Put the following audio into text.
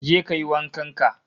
Je kayi wankan ka